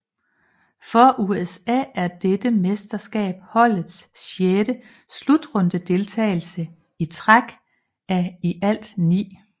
For USA er dette mesterskab holdets sjette slutrundedeltagelse i træk af i alt ni